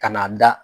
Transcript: Ka n'a da